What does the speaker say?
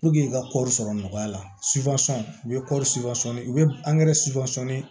i ka kɔɔri sɔrɔ nɔgɔya la u bɛ kɔɔri u bɛ